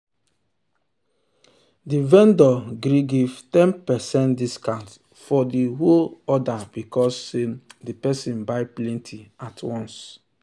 the vendor gree give ten percent discount for the whole order because say the person buy plenty at once.